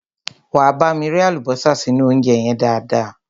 Wá bámi rẹ́ àlùbọ́sà sínú óúnjẹ yẹn dáadáa.